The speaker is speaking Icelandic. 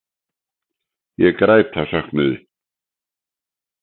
Ég græt af söknuði.